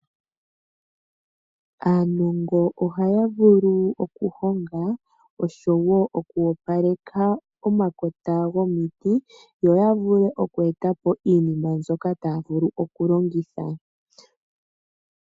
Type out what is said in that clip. Aanongo ohaya vulu okuhonga oshowo okwoopaleka omakota gomiti yo ya vule okweetapo iinima mbyoka taya vulu okulongitha.